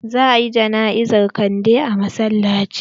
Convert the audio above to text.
Za a yi jana'izar kande a masallaci.